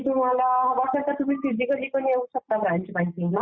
is not clear